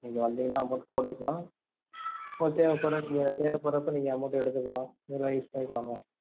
நீங்க வந்திங்கனா amount போட்டுக்கலாம் போட்டுட்டு எப்போ வேணா நீங்க தேவை படுறப்போ நீங்க amount எடுத்துக்கலாம் use பண்ணிக்கலாம் mam